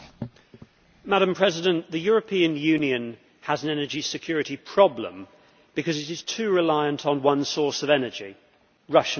Madam President, the European Union has an energy security problem because it is too reliant on one source of energy Russian gas.